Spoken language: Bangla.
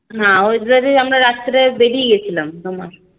না হরিদ্বার এ আমরা রাত্রে বেরিয়ে গেছিলাম